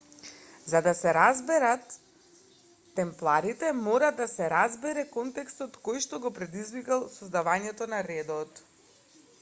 за да се разберет темпларите мора да се разбере контекстот којшто го предизвикал создавањето на редот